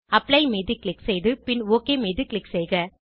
apply மீது click செய்து பின் ஒக் மீது க்ளிக் செய்க